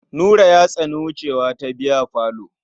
Nura ya tsani wucewa ta biyafalo.